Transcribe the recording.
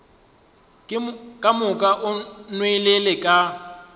ka moka o nwelele ka